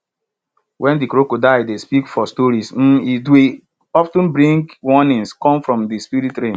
wen de crocodile dey speak for stories um it dwy of ten bring warnings come from de spirit realm